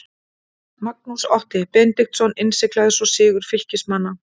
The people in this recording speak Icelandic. Magnús Otti Benediktsson innsiglaði svo sigur Fylkismanna.